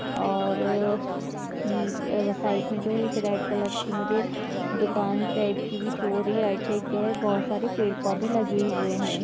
और नीच साइड में जो है एक रेड कलर की मुझे दुकान टाइप की भी शो हो रही है राइट साइड माँ बहुत सारे पेड़ पौधे लगे हुए है।